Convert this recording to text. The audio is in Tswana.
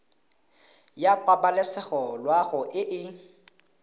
ya pabalesego loago e e